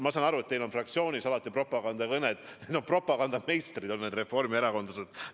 Ma saan aru, et teil on fraktsioonis alati propagandakõned – propagandameistrid on need reformierakondlased.